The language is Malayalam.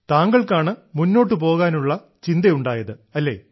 താങ്കൾക്കാണ് മുന്നോട്ട് പോകാനുള്ള ചിന്തയുണ്ടായത് അല്ലേ